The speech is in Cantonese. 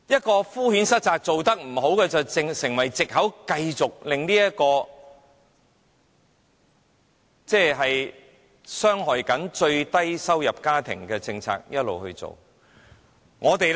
它敷衍塞責地以"做得不好"作為藉口，繼續維持傷害最低收入家庭的政策。